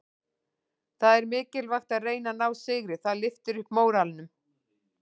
Það er mikilvægt að reyna að ná sigri, það lyftir upp móralnum.